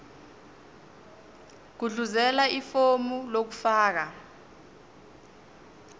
gudluzela ifomu lokufaka